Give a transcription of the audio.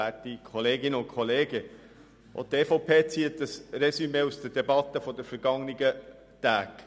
Auch die EVP zieht ein Résumé aus der Debatte der vergangenen Tage.